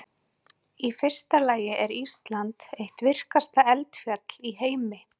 Í fyrsta lagi er Ísland eitt virkasta eldfjallaland í heimi.